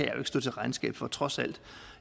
jo ikke stå til regnskab for trods alt